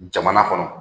Jamana kɔnɔ